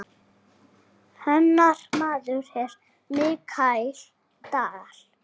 Hennar maður er Michael Dal.